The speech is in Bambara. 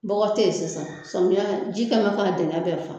Bɔgɔ tɛ yen sisan samiyɛ na ji kɛ bɛ k'a dingɛ bɛɛ fa